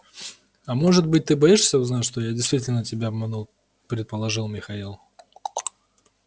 а может быть ты боишься узнать что я действительно тебя обманул предположил михаил